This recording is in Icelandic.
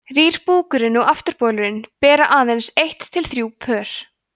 rýr búkurinn og afturbolur bera aðeins eitt til þrjú pör